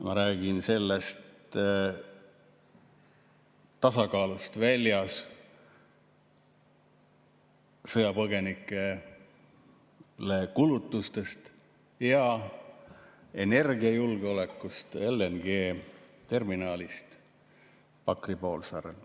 Ma räägin tasakaalust väljas olevatest, sõjapõgenikele minevatest kulutustest ja energiajulgeolekust, LNG‑terminalist Pakri poolsaarel.